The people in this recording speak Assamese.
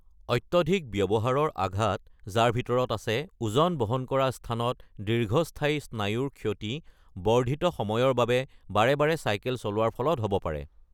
অত্যাধিক ব্যৱহাৰৰ আঘাত, যাৰ ভিতৰত আছে ওজন বহন কৰা স্থানত দীৰ্ঘস্থায়ী স্নায়ুৰ ক্ষতি, বৰ্ধিত সময়ৰ বাবে বাৰে বাৰে চাইকেল চলোৱাৰ ফলত হ'ব পাৰে।